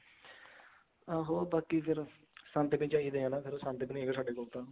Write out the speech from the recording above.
ਆਹੋ ਬਾਕੀ ਫ਼ੇਰ ਸੰਦ ਵੀ ਚਾਹੀਦੇ ਨੇ ਨਾ ਸੰਦ ਵੀ ਨੀ ਹੈਗੇ ਸਾਡੇ ਕੋਲ ਤਾਂ